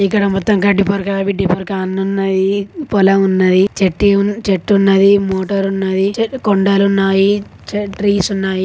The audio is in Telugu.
ఇక్కడ మొత్తం గడ్డిపరక గిడ్డిపరక ఉన్నాయి. పొలం ఉన్నది . చెట్టి ఉన్ చెట్టు ఉన్నది. మోటార్ ఉన్నది. చే కొండలు ఉన్నాయి.